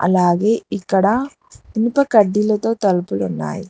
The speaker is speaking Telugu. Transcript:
అలాగే ఇక్కడ ఇనుప కడ్డీలతో తలుపులు ఉన్నాయి.